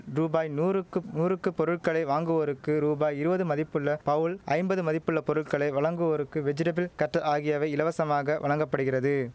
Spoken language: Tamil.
ரூபாய் நூறுக்கு நூறுக்கு பொருட்களை வாங்குவோருக்கு ரூபாய் இருவது மதிப்புள்ள பவுல் ஐம்பது மதிப்புள்ள பொருட்களை வழங்குவோருக்கு வெஜிடபிள் கட்டு ஆகியவை இலவசமாக வழங்க படுகிறது